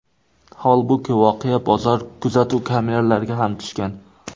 Holbuki, voqea bozor kuzatuv kameralariga ham tushgan.